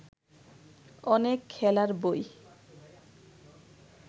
অনেক খেলার বই